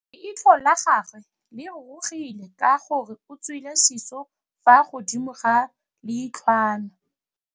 Leitlhô la gagwe le rurugile ka gore o tswile sisô fa godimo ga leitlhwana.